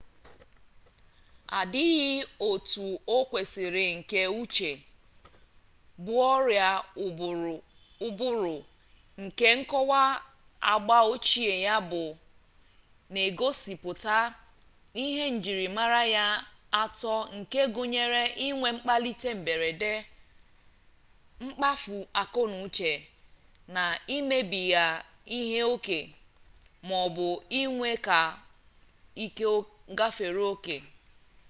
adịghị otu o kwesiri nke uche bụ ọrịa ụbụrụ nke nkọwa agba ochie ya na-egosipụta ihe njirimara ya atọ nke gụnyere inwe mkpalite mberede mkpafu akọnauche na imebiga ihe oke maọbụ inwe ike gafere oke